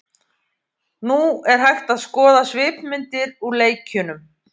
Nú er hægt að skoða svipmyndir úr leikjunum.